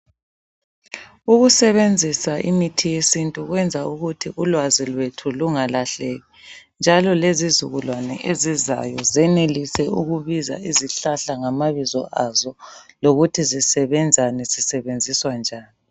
Ukusebenzisa imithi yesintu kwenza ukuthi ulwazi lwethu lungalahleki, njalo lezizukulwana ezizayo zenelise ukubiza izihlahla ngamabizo azo lokuthi zisebenzani, zisebenziswa njani.